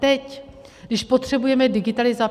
Teď když potřebujeme digitalizaci?